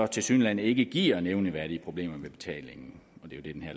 tilsyneladende ikke giver nævneværdige problemer med betalingen